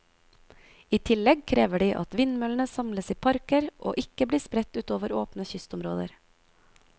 I tillegg krever de at vindmøllene samles i parker og ikke blir spredt utover åpne kystområder.